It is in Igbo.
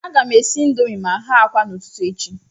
A ga m esi indomii ma ghe akwa n'ụtụtụ echi.